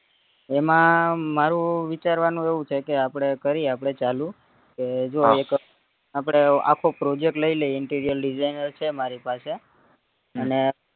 એમાં મારું વિચારવાનું એવું છે કે કરીએ આપડે ચાલુ એ જો એક આપડે આખો project લઈ લઈએ interior designer છે મારી પાસે અને